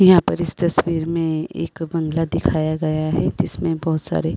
यहां पर इस तस्वीर में एक बंगला दिखाया गया है जिसमें बहुत सारे --